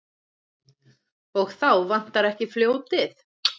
Og þá vantar ekki fljótið.